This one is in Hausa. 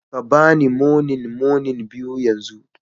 Ka ba ni moninmonin biyu yanzu